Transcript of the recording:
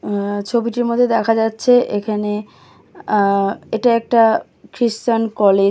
আ ছবিটির মধ্যে দেখা যাচ্ছে এখানে আ- ইটা একটা খ্রীস্টান কলে--